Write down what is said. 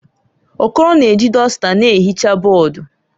Okoro na-eji dọsta na-ehicha bọọdụ.